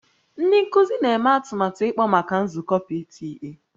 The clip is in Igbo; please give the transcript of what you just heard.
Ndị nkuzi na-eme atụmatụ ịkpọ maka nzukọ PTA